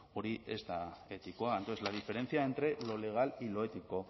hori ez da etikoa entonces la diferencia entre lo legal y lo ético